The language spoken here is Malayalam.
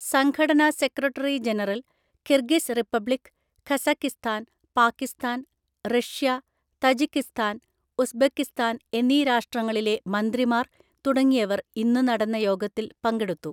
സംഘടന secretary general, Kyrgyz Republic, Kazakhstan, Pakistan, Russia, Tajikistan Uzbekistan എന്നീ രാഷ്ട്രങ്ങളിലെ മന്ത്രിമാർ തുടങ്ങിയവർ ഇന്നു നടന്ന യോഗത്തിൽ പങ്കെടുത്തു.